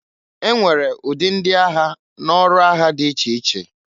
E nwere ụdị ndị agha n'ọrụ agha dị iche iche.